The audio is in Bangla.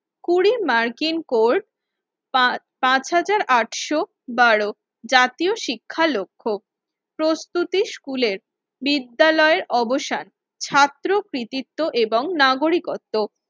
কুড়ি মার্কিন কোড় পা পাঁচ হাজার আটশো বারো জাতীয় শিক্ষা লক্ষ্য। প্রস্তুতি স্কুলের বিদ্যালয়ে অবসান ছাত্র কৃতিত্ব এবং নাগরিকত্ব